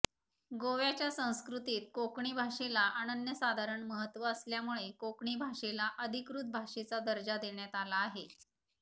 गोव्याच्या संस्कृतीत कोकणी भाषेला अनन्यसाधारण महत्त्व असल्यामुळे कोकणी भाषेला अधिकृत भाषेचा दर्जा देण्यात आला आहे